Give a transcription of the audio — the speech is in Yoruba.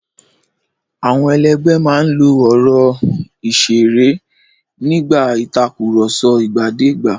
Àwọn ẹlẹgbẹ́ máa ń lo ọ̀rọ̀ ìṣeré nígbà ìtàkùrọ̀sọ ìgbàdégbà.